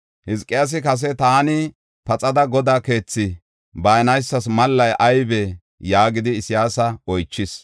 Hizqiyaasi kase, “Taani paxada Godaa keethi baanaysas mallay aybe” yaagidi Isayaasa oychis.